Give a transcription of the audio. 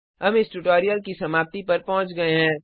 हम इस ट्यूटोरियल की समाप्ति पर पहुँच गए हैं